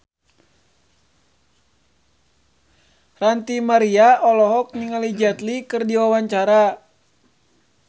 Ranty Maria olohok ningali Jet Li keur diwawancara